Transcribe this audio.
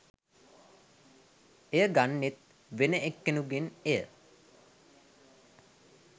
එය ගන්නෙත් වෙන එක්කෙනෙකුගෙන් එය